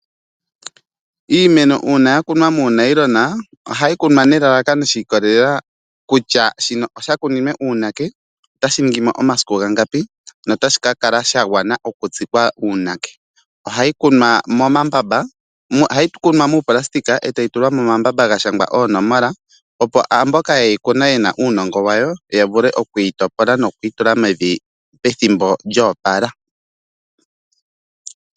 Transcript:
Iimeno uuna yakunwa muunayilona ohayi kunwa nelalakano shi ikolelela kutya shino osha kuninwe uunake otashi ningimo omasiku gangapi notashi kakala shagwana okutsikwa uunake . Ohayi kunwa moonayilona etayi tulwa momambamba gashangwa oonomola opo mboka yehi kuna yena uunongo wayo yavule okuyi topola nokuyi tula mevi pethimbo lyo opala .